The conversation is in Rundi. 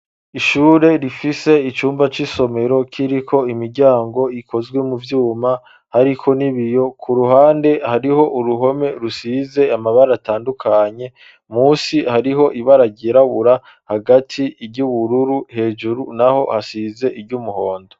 Ishure rifise icumba c'isomero kiriko imiryango ikozwe mu vyuma, hariko n'ibiyo ku ruhande hariho uruhome rusize amabara atandukanye musi hariho ibara ryirabura hagati ry'ubururu hejuru naho hasize iry'umuhondo.